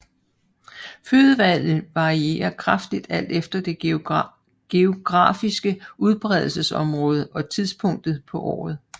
Fødevalget varierer kraftigt alt efter det geografiske udbredelsesområde og tidspunktet på året